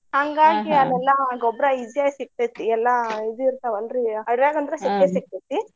ಅಲ್ಲೆಲ್ಲಾ ಗೊಬ್ರಾ easy ಆಗಿ ಸಿಗ್ತೈತಿ. ಎಲ್ಲಾ ಇದು ಇರ್ತಾವಲ್ರಿ ಅಡವ್ಯಾಗ ಅಂದ್ರ ಸಿಗ್ತೈತಿ.